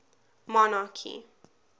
monarchy